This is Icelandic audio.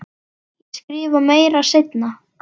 Ég skrifa meira seinna.